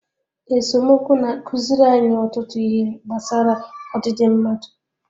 Esemokwu na-akụziri anyị ọtụtụ ihe gbasara ọdịdị mmadụ